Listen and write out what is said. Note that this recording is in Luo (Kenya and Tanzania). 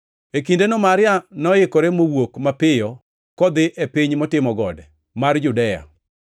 E kindeno Maria noikore mowuok mapiyo kodhi e piny motimo gode mar Judea,